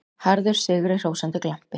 Harður, sigrihrósandi glampi.